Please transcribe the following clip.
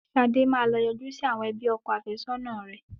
Sade máa lọ yọjú sí àwọn ẹbí ọkọ afẹ́sọ́nà rẹ̀.